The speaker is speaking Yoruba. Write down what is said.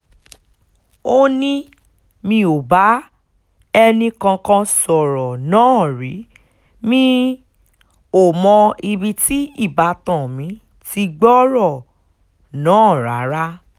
ó ní mi ò bá ẹnìkankan sọ̀rọ̀ náà rí mi um ò mọ ibi tí ìbátan mi ti gbọ́rọ̀ um náà rárá